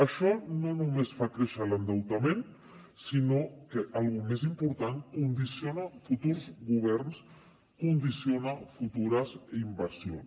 això no només fa créixer l’endeutament sinó que alguna cosa més important condiciona futurs governs condiciona futures inversions